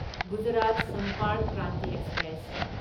Gujarat Sampark Kranti express